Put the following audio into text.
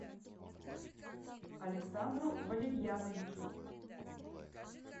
александру валерьяновичу